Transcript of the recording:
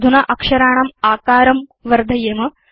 अधुना अक्षराणाम् आकारं वर्धयेम